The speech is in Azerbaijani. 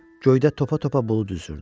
Göydə topa-topa bulud üzürdü.